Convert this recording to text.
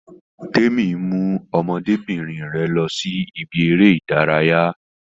Témi mú ọmọdébìnrin rẹ lọ sí ibi eré ìdárayá